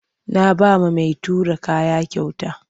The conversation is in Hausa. Na ba wa mai tura kaya kyauta.